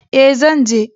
E, zan je.